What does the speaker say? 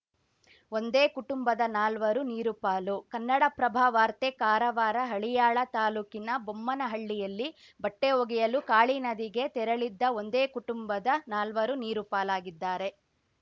ಒಂದೇ ಕುಟುಂಬದ ನಾಲ್ವರು ನೀರುಪಾಲು ಕನ್ನಡಪ್ರಭ ವಾರ್ತೆ ಕಾರವಾರ ಹಳಿಯಾಳ ತಾಲೂಕಿನ ಬೊಮ್ಮನಳ್ಳಿಯಲ್ಲಿ ಬಟ್ಟೆಒಗೆಯಲು ಕಾಳಿ ನದಿಗೆ ತೆರಳಿದ್ದ ಒಂದೇ ಕುಟುಂಬದ ನಾಲ್ವರು ನೀರು ಪಾಲಾಗಿದ್ದಾರೆ